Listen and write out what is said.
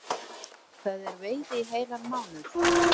Það er veiði í heilan mánuð